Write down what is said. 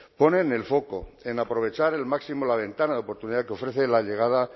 ponen el foco en aprovechar al máximo la ventana de oportunidad que ofrece la llegada